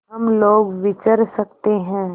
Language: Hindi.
हम लोग विचर सकते हैं